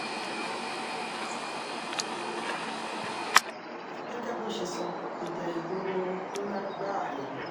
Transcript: gẹ́gẹ́ bó ṣe sọ ìjà ìgboro um ńlá gbáà ni